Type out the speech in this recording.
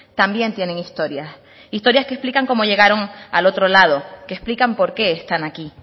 también tienen historias historias que explican cómo llegaron al otro lado que explican por qué están aquí